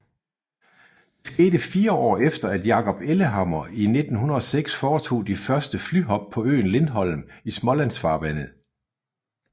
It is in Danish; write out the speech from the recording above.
Det skete fire år efter at Jacob Ellehammer i 1906 foretog de første flyhop på øen Lindholm i Smålandsfarvandet